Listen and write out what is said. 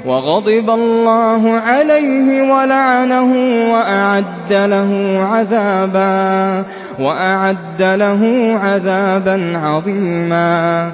وَغَضِبَ اللَّهُ عَلَيْهِ وَلَعَنَهُ وَأَعَدَّ لَهُ عَذَابًا عَظِيمًا